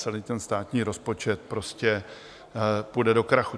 Celý ten státní rozpočet prostě půjde do krachu.